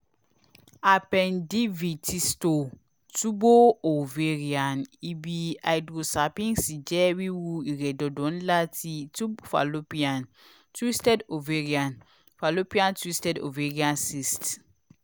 appendivitisto tubo-oavarian ibi hydrosalpinx jẹ wiwu iredodo nla ti tube fallopian twisted ovarian fallopian twisted ovarian cyst